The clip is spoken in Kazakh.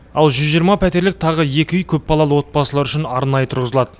ал жүз жиырма пәтерлік тағы екі үй көпбалалы отбасылар үшін арнайы тұрғызылады